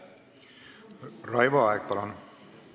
Raivo Aeg, palun!